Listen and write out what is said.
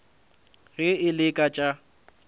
ge e le ka tša